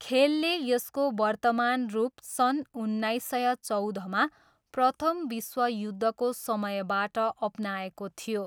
खेलले यसको वर्तमान रूप सन् उन्नाइस सय चौधमा प्रथम विश्वयुद्धको समयबाट अपनाएको थियो।